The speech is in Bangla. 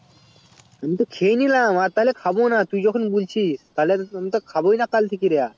আমি তো খেয়েনিলাম তো আমি আর খাবো না তুই যখন বুলছি তাহলে আমি তো খাবোই না কাল থেকে আর